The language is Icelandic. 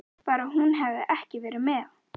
Bara hún hefði ekki verið með.